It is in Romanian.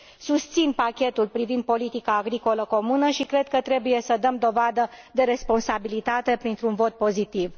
Susțin pachetul privind politica agricolă comună și cred că trebuie să dăm dovadă de responsabilitate, printr un vot pozitiv.